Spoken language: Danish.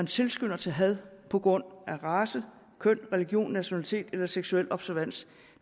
tilskynder til had på grund af race køn religion nationalitet eller seksuel observans